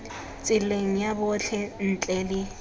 tseleng ya botlhe ntle le